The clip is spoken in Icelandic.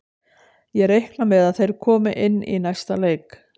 Ég reikna með að þeir komi inn í næsta leik.